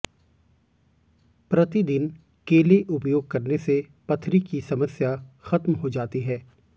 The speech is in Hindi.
प्रतिदिन केले उपयोग करने से पथरी की समस्या ख़त्म हो जाती है